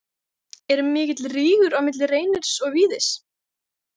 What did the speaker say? Er mikill rígur á milli Reynis og Víðis?